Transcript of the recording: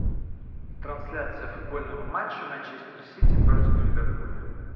трансляция футбольного матча манчестер сити против ливерпуля